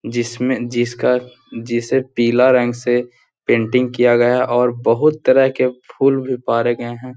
जिस में जिस का जिसे पीला रंग से पेंटिंग किया गया है और बहुत तरह के फूल भी पारे गए है।